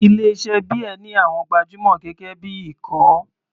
Ilé iṣẹ́ beer ní àwọn gbajúmọ̀ gẹ́gẹ́ bí ikọ̀.